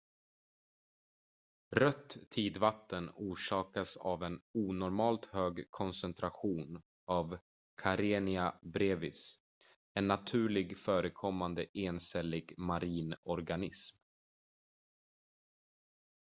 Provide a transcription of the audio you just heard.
rött tidvatten orsakas av en onormalt hög koncentration av karenia brevis en naturligt förekommande encellig marin organism